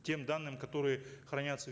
тем данным которые хранятся